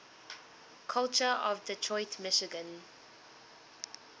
culture of detroit michigan